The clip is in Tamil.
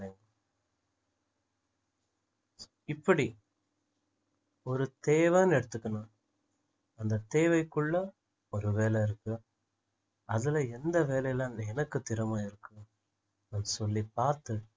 இப்படி ஒரு தேவைன்னு எடுத்துக்குனா அந்த தேவைக்குள்ள ஒரு வேலை இருக்கு அதுல எந்த வேலையில வந்து எனக்கு திறமை இருக்கோ அப்படி சொல்லி பார்த்து